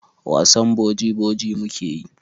Wasan boji-boji mu ke yi.